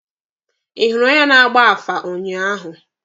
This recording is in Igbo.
Ị hụrụ onye na-agba afa ụnyaahụ?